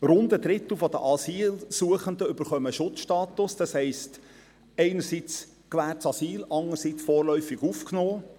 Rund ein Drittel der Asylsuchenden erhält einen Schutzstatus, das heisst einerseits gewährtes Asyl, andererseits «vorläufig aufgenommen».